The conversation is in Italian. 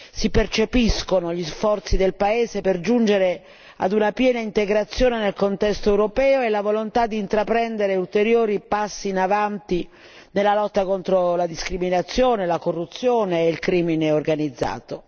Si percepiscono gli sforzi del paese per giungere a una piena integrazione del contesto europeo e la volontà di intraprendere ulteriori passi in avanti nella lotta contro la discriminazione, la corruzione e il crimine organizzato.